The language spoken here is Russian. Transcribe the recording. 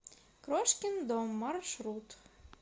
крошкин дом маршрут